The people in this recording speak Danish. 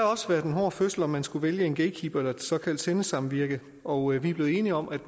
også været en hård fødsel om man skulle vælge en gatekeeper eller et såkaldt sendesamvirke og vi er blevet enige om at